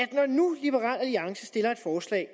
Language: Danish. er alliance stiller et forslag